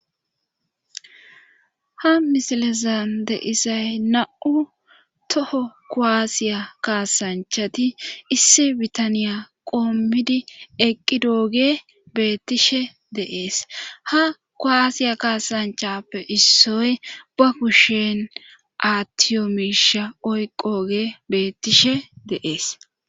ha misilezan de'isay na7u toho koaasiya kaasanchati issi bitaniya qoommidi eqqi dooge beettishe deees ha koaasiya kaasanchappe issoy ba kushen aatiyomisha oyqooge beettishe deees